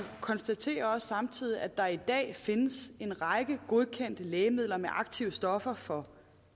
konstaterer også samtidig at der i dag findes en række godkendte lægemidler med aktive stoffer fra